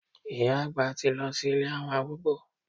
Ìyá àgbà ti lọ sí ilé àwọn arúgbó.